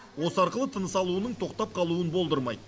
осы арқылы тыныс алуының тоқтап қалуын болдырмайды